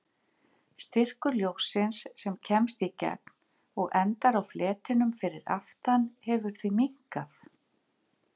Styrkur ljóssins sem kemst í gegn og endar á fletinum fyrir aftan hefur því minnkað.